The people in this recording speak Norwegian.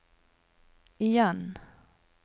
igjen